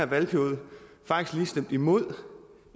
valgperiode faktisk lige imod